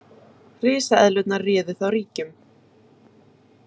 Risaeðlurnar réðu þá ríkjum.